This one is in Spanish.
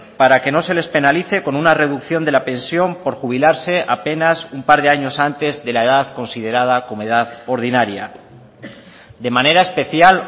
para que no se les penalice con una reducción de la pensión por jubilarse apenas un par de años antes de la edad considerada como edad ordinaria de manera especial